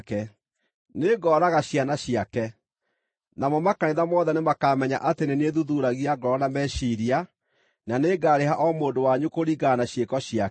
Nĩngooraga ciana ciake. Namo makanitha mothe nĩmakamenya atĩ nĩ niĩ thuthuuragia ngoro na meciiria, na nĩngarĩha o mũndũ wanyu kũringana na ciĩko ciake.